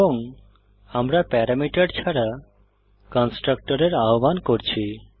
এবং আমরা প্যারামিটার ছাড়া কন্সট্রাকটরের আহ্বান করছি